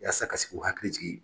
Yasa ka se k'u hakili jigin